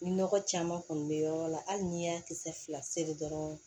Ni nɔgɔ caman kɔni be yɔrɔ la hali n'i y'a kisɛ fila seri dɔrɔn